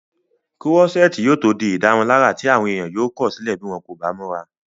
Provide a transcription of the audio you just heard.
kúrọ́sẹ́ẹ̀tì yóò tó di ìdárunlárà tí àwọn èèyàn yóò kọ̀sílẹ̀ bí wọ́n kò bá múra